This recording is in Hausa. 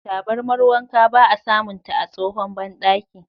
Tabarmar wanka ba a samunta a tsahon bandaki.